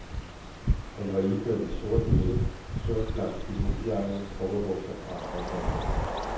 Han var iført en sort hætte, sort blank pilotjakke, cowboybukser og arbejdshandsker.